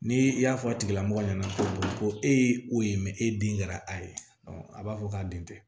Ni i y'a fɔ a tigilamɔgɔ ɲɛna ko e ye o ye e den kɛra a ye a b'a fɔ k'a den tɛ